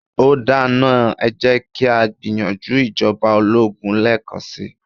Ó da náà, ẹ jẹ́ kí á gbìyànjú ìjọba ológun lẹ́ẹ́kan si.